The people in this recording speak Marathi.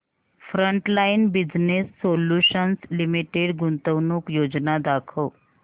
फ्रंटलाइन बिजनेस सोल्यूशन्स लिमिटेड गुंतवणूक योजना दाखव